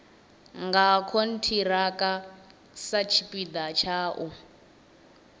nga khonthiraka satshipida tsha u